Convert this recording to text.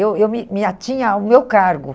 Eu eu me me atinha ao meu cargo.